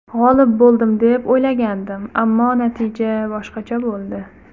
G‘olib bo‘ldim deb o‘ylagandim, ammo natija boshqacha bo‘ldi.